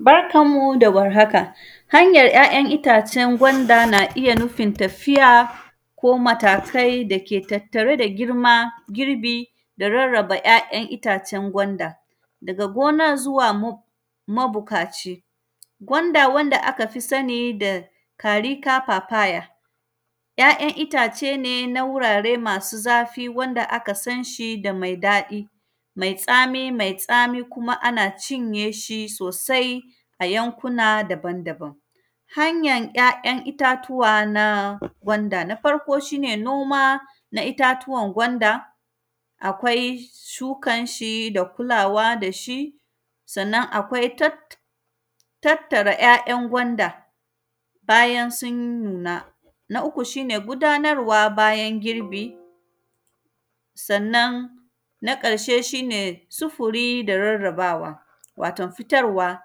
Barkan mu da warhaka, hanyar ‘ya’yan itacen gwanda na iya nufin tafiya ko matakai dake tattare da girma girbi da rarraba ‘ya’yan itacen gwanda daga gona zuwa mab; mabukaci. Gwanda, wanda aka fi sani da “carica papaya”, ‘ya’yan itace ne na wurare masu zafi wanda aka san shi da mai daɗi, mai tsami. Mai tsami kuma ana cinye shi sosai a yankuna daban-daban. Hanyan ‘ya’yan itatuwa na gwanda, na farko, shi ne noma na itatuwan gwanda, akwai shukan shi da kulawa da shi. Sannan, akwai tat; tattara ‘ya’yan gwanda, bayan sun nuna. Na uku, shi ne gudanarwa bayan gurbi. Sannan, na ƙarshe, shi ne sufiri da rarrabawa, waton fitarwa.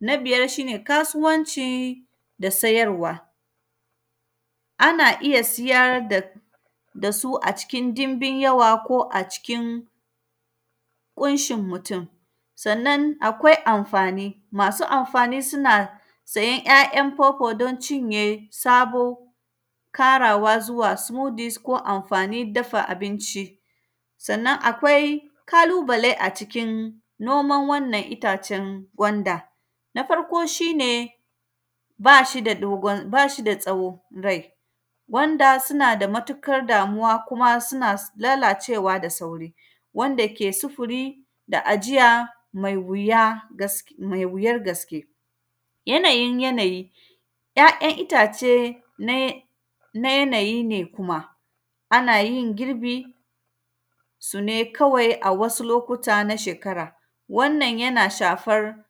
Na biyar, shi ne kasuwanci da sayarwa, ana iya siyar da, da su a cikin dimbin yawa ko a cikin ƙunshin mutun. Sannan, akwai amfani, masu amfani suna sayan ‘ya’yan kwakwa don cinye sabo karawa zuwa “suyudis” ko amfanin dafa abinci. Sannan, akwai kalubale a cikin noman wannan itacen gwanda. Na farko, shi ne, ba shi da dogon, ba shi da tsawo rai. Gwanda suna da matukar damuwa, kuma suna lalacewa da sauri. Wanda ke sufuri da ajiya mai wuya, gas; mai wuyar gaske. Yanayin yanayi, ‘ya’yan itace na, na yanayi ne kuma. Ana yin girbin su ne kawai a wasu lokuta na shekara. Wannan, yana shafar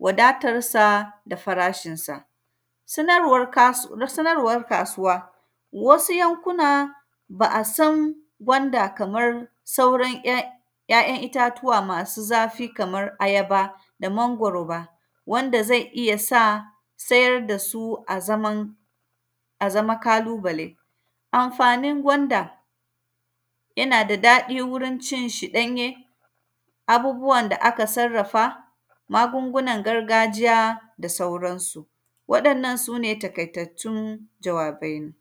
wadatarsa da farashinsa. Sanarwar kas; sanarwar kasuwa, wasu yankuna, ba a san gwanda kamar sauran ‘yan, ‘ya’yan itatuwa masu zafi kamar ayaba da mangoro ba, wanda zai iya sa sayar da su a zaman, a zama kalubale. Amfanin gwanda, yana da daɗi wurin cin shi ɗanye, abubuwan da aka sarrafa, magungunan gargajiya da sauransu. Waɗannan, su ne takaitattun jawabaina.